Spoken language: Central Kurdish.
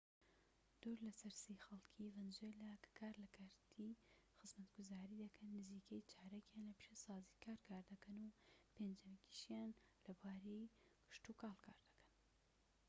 دوو لە سەر سێی خەڵکی ڤەنزوێلا کە کار لە کەرتی خزمەتگوزاری دەکەن نزیکەی چارەکیان لە پیشەسازی کار دەکەن و پێنجیەکیشیان لە بواری کشتوکاڵ کار دەکەن